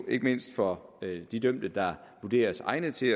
ikke mindst for de dømte der vurderes egnede til